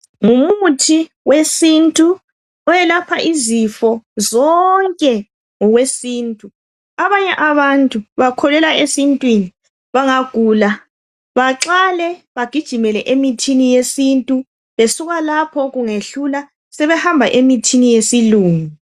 Ngumuthi wesintu owelapha izifo zonke ngokwesintu. Abanye abantu bakholelwa esintwini bangagula baqale bagijimele emithini yesintu besuka lapho kungehlula sebehamba emithini yesilungu.